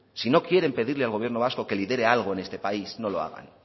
si no quieren pedirle al gobierno vasco que lidere algo en este país no lo hagan